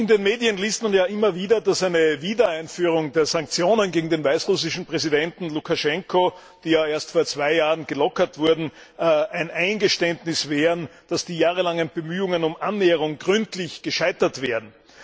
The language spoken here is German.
In den Medien liest man immer wieder, dass eine Wiedereinführung der Sanktionen gegen den weißrussischen Präsidenten Lukaschenko, die ja erst vor zwei Jahren gelockert wurden, ein Eingeständnis wären, dass die jahrelangen Bemühungen um Annäherung gründlich gescheitert wären.